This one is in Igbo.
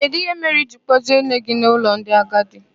Kedụ ihe mere I jiri kpọjee nne gị n'ụlọ ndị agadi?